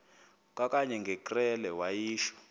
kwakanye ngekrele wayishu